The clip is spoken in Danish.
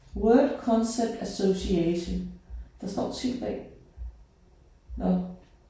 Word concept association. Der står T A nåh